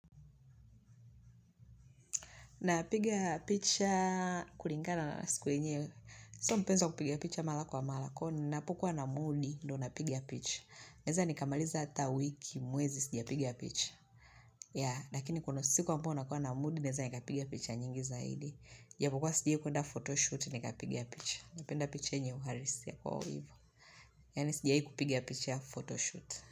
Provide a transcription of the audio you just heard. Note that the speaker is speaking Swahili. Napigia picha kuringana na siku yenyewe. Sio mpenzi wa kupigia picha mala kwa mala kwa hiyo ninapokuwa na mudi ndo napiga picha. Naeza nikamaliza hata wiki mwezi sijapiga picha. Ya, lakini kuna siku ambayo nakia na mudi naweza nikapigia picha nyingi zaidi. Japokua sijawahi kuenda photoshoot nikapiga picha. Napenda picha yenye uharisia kwa uivo. Yani sijawahi kupiga picha photoshoot.